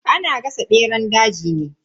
Ana gasa beran daji ne.